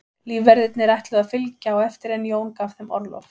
Lífverðirnir ætluðu að fylgja á eftir en Jón gaf þeim orlof.